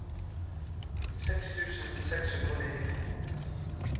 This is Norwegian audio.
seks tusen seks hundre og nittito